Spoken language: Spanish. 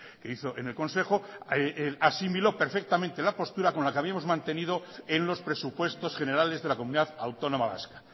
que hizo en el consejo asimiló perfectamente la postura con la que habíamos mantenido en los presupuesto generales de la comunidad autónoma vasca